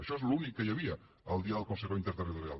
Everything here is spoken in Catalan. això és l’únic que hi havia el dia del consejo interterritorial